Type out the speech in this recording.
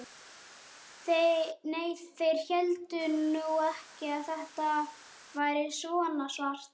Nei, þeir héldu nú ekki að þetta væri svona svart.